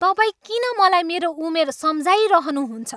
तपाईँ किन मलाई मेरो उमेर सम्झाइरहनु हुन्छ?